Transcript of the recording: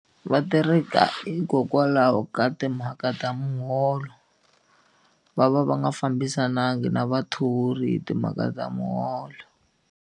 Va tereka hikokwalaho ka timhaka ta muholo va va va nga fambisananga na vathori hi timhaka ta muholo.